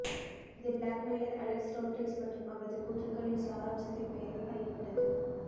இது blackmailer Alex Rodrigues மற்றும் அவரது கூற்றுக்களின் சாராம்சத்தின் பெயரால் அறியப்பட்டது